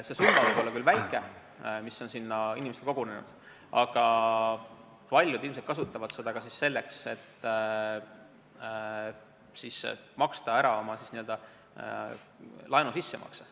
See summa, mis on sinna inimestele kogunenud, võib küll olla väike, aga paljud ilmselt kasutavad seda selleks, et teha laenuga seotud sissemakse.